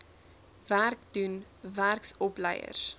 werk doen werksopleiers